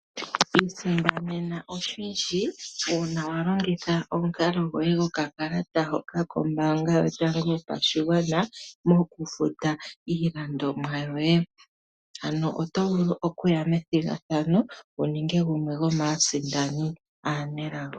Isindanena oshindji una wa longitha omukalo gwoye gokakalata koye kombaanga yotango yopashigwana moku futa iilandomwa yoye. Ano oto vulu okuya methigathano wu ninge gumwe gomaasindani aanelago.